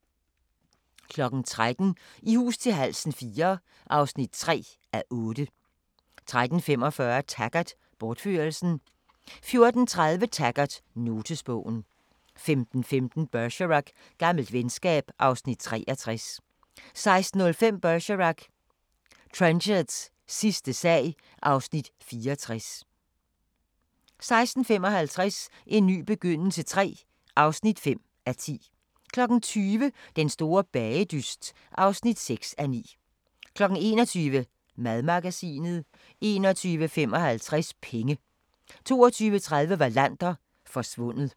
13:00: I hus til halsen IV (3:8) 13:45: Taggart: Bortførelsen 14:30: Taggart: Notesbogen 15:15: Bergerac: Gammelt venskab (Afs. 63) 16:05: Bergerac: Trenchards sidste sag (Afs. 64) 16:55: En ny begyndelse III (5:10) 20:00: Den store bagedyst (6:9) 21:00: Madmagasinet 21:55: Penge 22:30: Wallander – Forsvundet